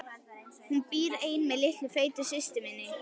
Hún býr ein með litlu feitu systur minni.